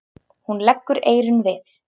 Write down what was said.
Hún leggur eyrun við.